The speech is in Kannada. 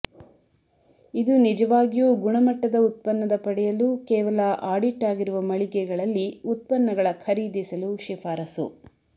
ಇದು ನಿಜವಾಗಿಯೂ ಗುಣಮಟ್ಟದ ಉತ್ಪನ್ನದ ಪಡೆಯಲು ಕೇವಲ ಆಡಿಟ್ ಆಗಿರುವ ಮಳಿಗೆಗಳಲ್ಲಿ ಉತ್ಪನ್ನಗಳ ಖರೀದಿಸಲು ಶಿಫಾರಸು